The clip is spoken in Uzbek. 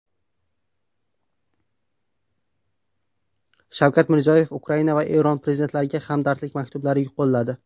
Shavkat Mirziyoyev Ukraina va Eron prezidentlariga hamdardlik maktublari yo‘lladi.